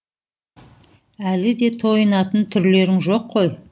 әлі де тойынатын түрлерің жоқ қой